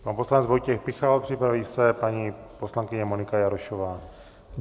Pan poslanec Vojtěch Pikal, připraví se paní poslankyně Monika Jarošová.